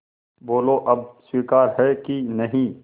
बोलो अब स्वीकार है कि नहीं